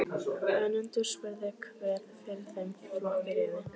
Önundur spurði hver fyrir þeim flokki réði.